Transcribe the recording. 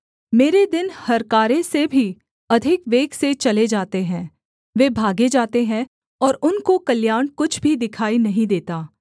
मेरे दिन हरकारे से भी अधिक वेग से चले जाते हैं वे भागे जाते हैं और उनको कल्याण कुछ भी दिखाई नहीं देता